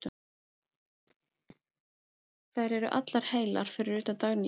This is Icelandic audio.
Þær eru allar heilar fyrir utan Dagnýju.